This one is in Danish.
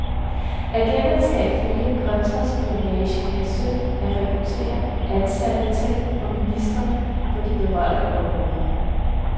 Agenterne skal ifølge kontraspionagen have søgt at rekruttere ansatte tæt på ministrene på de berørte områder.